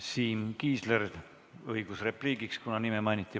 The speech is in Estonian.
Siim Kiisleril on õigus repliigiks, kuna nime mainiti.